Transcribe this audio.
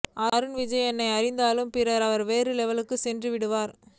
அருண் விஜய் என்னை அறிந்தாலுக்கு பிறகு வேற லெவலுக்கு சென்றுவிட்டார்